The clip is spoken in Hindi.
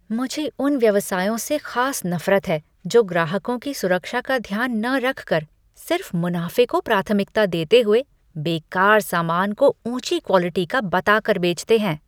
मुझे उन व्यवसायों से ख़ास नफ़रत है जो ग्राहकों की सुरक्षा का ध्यान न रखकर सिर्फ़ मुनाफ़े को प्राथमिकता देते हुए बेकार सामान को ऊँची क्वालिटी का बता कर बेचते हैं।